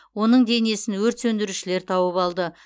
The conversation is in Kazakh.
оның денесін өрт сөндірушілер тауып алды